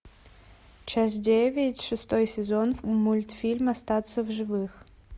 часть девять шестой сезон мультфильм остаться в живых